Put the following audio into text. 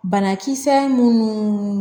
Banakisɛ minnu